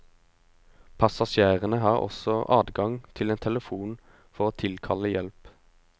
Passasjerene har også adgang til en telefon for å tilkalle hjelp.